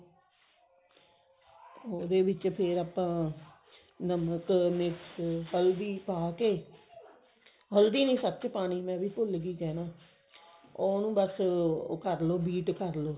ਉਹਦੇ ਵਿੱਚ ਫ਼ੇਰ ਆਪਾਂ ਨਮਕ ਮਿਰਚ ਹਲਦੀ ਪਾਕੇ ਹਲਦੀ ਨੀ ਸਚ ਪਾਣੀ ਮੈਂ ਵੀ ਭੁਲ੍ਗੀ ਕਹਿਣਾ ਉਹਨੂੰ ਬਸ ਉਹ ਕਰਲੋ beat ਕਰਲੋ